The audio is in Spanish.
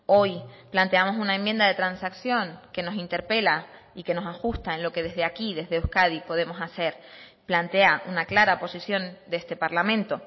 hoy planteamos una enmienda de transacción que nos interpela y que nos ajusta en lo que desde aquí desde euskadi podemos hacer plantea una clara posición de este parlamento